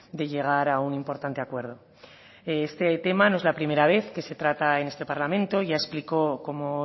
de llegar a un importante acuerdo este tema no es la primera vez que se trata en este parlamento ya explicó como